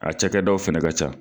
A cakɛ dɔw fana ka ca.